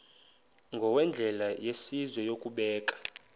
ngokwendlela yesizwe yokubeka